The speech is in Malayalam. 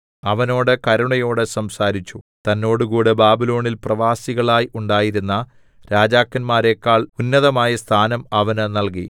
അവനോട് കരുണയോട് സംസാരിച്ചു തന്നോടുകൂടെ ബാബിലോണിൽ പ്രവാസികളായി ഉണ്ടായിരുന്ന രാജാക്കന്മാരെക്കാൾ ഉന്നതമായ സ്ഥാനം അവന് നൽകി